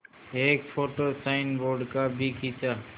एक photo signboard का भी खींचा